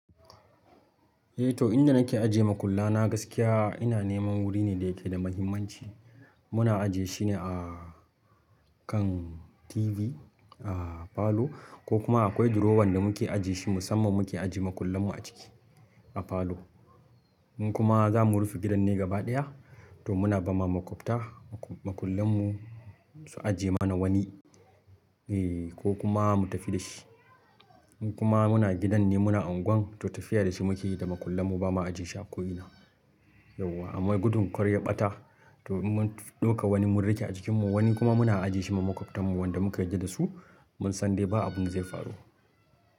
Eh to inda nake ajiye makulla na gaskiya ina neman wuri ne da yake da muhimmanci. Muna ajiye shine a kan TV a falo ko kuma akwai drawer ɗin da muke ajiye shi musamman muke ajiye makullan mu a ciki a falo. In kuma za mu rufe gidan ne gaba ɗaya to muna ba ma maƙwabta makullan mu su ajiye mana wani eh ko kuma mu tafi da shi. In kuma gidan ne muna anguwan to tafiya da shi maƙullan mu ba ma ajiye shi a ko ina. Yauwa amma gudun kar ya ɓata to mun ɗauka wani mun rage a jikin mu wani kuma muna ajiye shi ma maƙwabtarn mu wanda muka yarda da su mun san dai ba abin da zai faru.